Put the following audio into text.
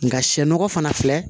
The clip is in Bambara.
Nka sɛ nɔgɔ fana filɛ